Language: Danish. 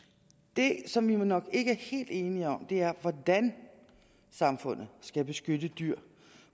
det som vi vel nok ikke er helt enige om er hvordan samfundet skal beskytte dyr